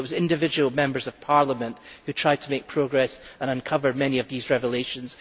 It was individual members of the German Parliament who tried to make progress and uncovered many of these revelations.